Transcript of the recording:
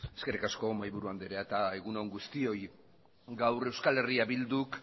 eskerrik asko mahaiburu andrea eta egun on guztioi gaur euskal herria bilduk